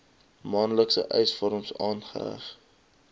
maandelikse eisvorm aangeheg